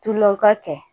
Tulon ka kɛ